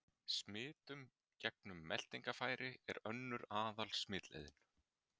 Smitun gegnum meltingarfæri er önnur aðal-smitleiðin.